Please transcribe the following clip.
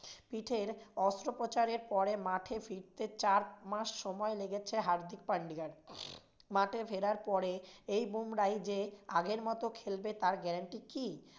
পিঠের অস্ত্রোপচারের পরে মাঠে ফিরতে চার মাস সময় লেগেছে হার্দিক পান্ডেয়ার, মাঠে ফেরার পরে এই বুমরাই যে আগের মতো খেলবে তার guarantee কী?